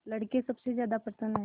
लड़के सबसे ज्यादा प्रसन्न हैं